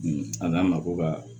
A n'an ma ko ka